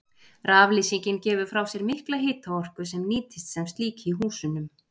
Raflýsingin gefur frá sér mikla hitaorku sem nýtist sem slík í húsunum.